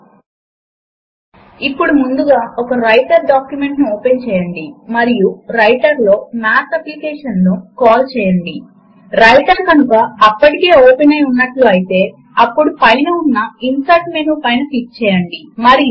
దాని లోపల LibreOffice suite open source లు కలిపి పెట్టి ఇవ్వబడ్డాయి కనుక అది ఓపెన్ సోర్స్ కు చెందినది ఉచితముగా పొందగలిగేది మరియు ఉచితముగా పంపిణీ కూడా చేయబడుతుంది